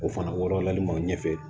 O fana wɔɔrɔ laɲini ma ɲɛfɛ